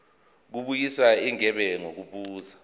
kubuyiswa igebe ngokubuza